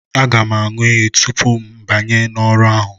Aga m aṅụ iyi tupu mụ abanye n'ọrụ ahụ